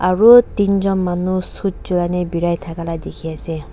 aru tin jont manu suit chure ne berai thaka dekhi ase.